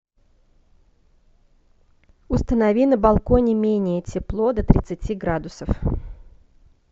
установи на балконе менее тепло до тридцати градусов